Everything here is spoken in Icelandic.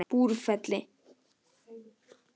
Búrfelli